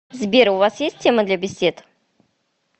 сбер у вас есть темы для бесед